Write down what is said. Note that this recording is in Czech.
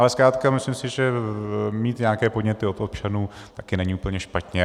Ale zkrátka myslím si, že mít nějaké podněty od občanů také není úplně špatně.